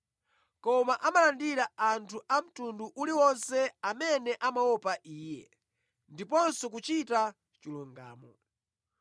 Koma amalandira anthu a mtundu uli wonse amene amaopa Iye ndiponso kuchita chilungamo.